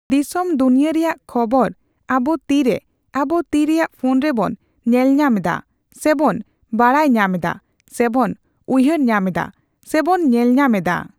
ᱫᱤᱥᱚᱢ ᱫᱩᱱᱤᱭᱟᱹ ᱨᱮᱭᱟᱜ ᱠᱷᱚᱵᱚᱨ ᱟᱵᱚ ᱛᱤᱨᱮ ᱟᱵᱚ ᱛᱤ ᱨᱮᱭᱟᱜ ᱯᱷᱳᱱ ᱨᱮᱵᱚᱱ ᱧᱮᱞ ᱧᱟᱢ ᱫᱟ ᱥᱮ ᱵᱚᱱ ᱵᱟᱲᱟᱭ ᱧᱟᱢ ᱫᱟ ᱥᱮ ᱵᱚᱱ ᱩᱭᱦᱟᱹᱨ ᱧᱟᱢ ᱫᱟ ᱥᱮ ᱵᱚᱱ ᱧᱮᱞ ᱧᱟᱢ ᱮᱫᱟ ᱾